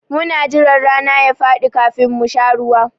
Muna jira rana ya faɗi kafin mu sha ruwa.